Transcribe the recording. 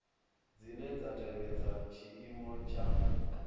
dzine dza tevhedza tshiimo tsha